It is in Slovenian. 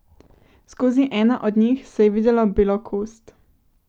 Skozi eno od njih se je videlo belo kost.